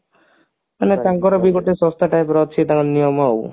ମାନେ ତାଙ୍କର ବି ଗୋଟେ ସଂସ୍ଥା type ର ଅଛି ତାଙ୍କ ନିୟମ ଆଉ